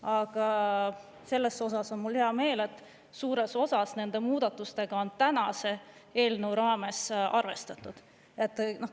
Aga selle üle on mul hea meel, et suures osas nende muudatustega on tänase eelnõu raames arvestatud.